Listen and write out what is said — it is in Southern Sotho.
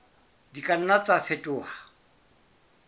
di ka nna tsa fetoha